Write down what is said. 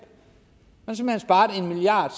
man sparet en milliard